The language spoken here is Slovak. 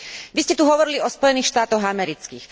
Vy ste tu hovorili o Spojených štátoch amerických.